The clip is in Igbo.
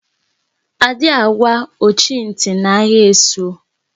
A dị agwa ọchị ntị na agha esu